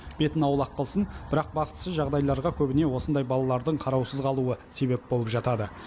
бетін аулақ қылсын бірақ бақытсыз жағдайларға көбіне осындай балалардың қараусыз қалуы себеп болып жатады